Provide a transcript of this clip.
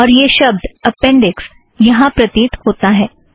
और यह शब्द अपेंड़िक्स यहाँ प्रतीत होता है